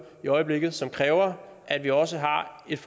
i øjeblikket som kræver at vi også har et